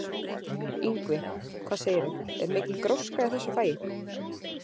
Ingvi, hvað segirðu, er mikil gróska í þessu fagi?